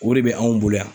O de bɛ anw bolo yan